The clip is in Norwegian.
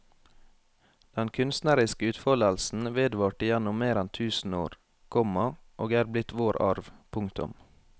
Den kunstneriske utfoldelsen vedvarte gjennom mer enn tusen år, komma og er blitt vår arv. punktum